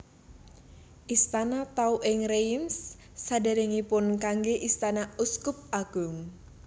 Istana Tau ing Reims sadèrèngipun kanggé istana uskup agung